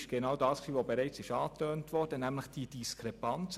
Sie wurden bereits angesprochen.